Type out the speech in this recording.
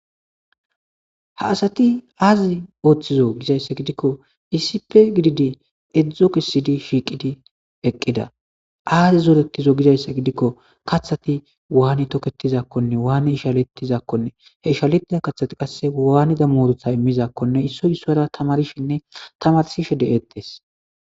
Haa asati oththizzo Gizayissa gidikko issippe gididi ezzi kessidi shiqqiddi eqqida azzi zooretizo Gizayissa gidikko kaththayi wani toketizakonne wani ishshaletizakonne he ishaletiza kaththayi qase wanizza muruta immizakkonni issoyi isuwara tamarishshenne tamarisishshe de'etees.